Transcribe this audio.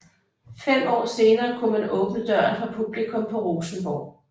Fem år senere kunne man åbne døren for publikum på Rosenborg